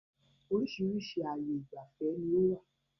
Oríṣiríṣi ààyè ìgbafẹ́ ni ó wà